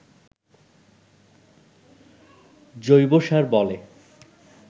জৈবসার বলে